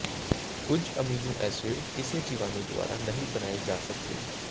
ਕੁਝ amino acid ਕਿਸੇ ਜੀਵਾਣੂ ਦੁਆਰਾ ਨਹੀਂ ਬਣਾਏ ਜਾ ਸਕਦੇ